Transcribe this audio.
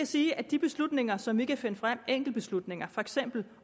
sige at de beslutninger som vi kan finde frem enkeltbeslutninger for eksempel